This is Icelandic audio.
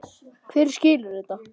Hver skilur þetta?